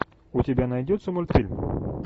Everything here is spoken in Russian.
у тебя найдется мультфильм